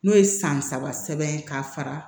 N'o ye san saba sɛbɛn ka fara